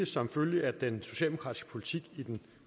som følge af den socialdemokratiske politik i den